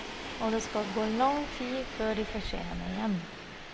Og det skal gå lang tid før de får se henne igjen.